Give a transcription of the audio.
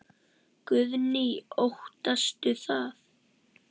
Guðný: Óttastu það?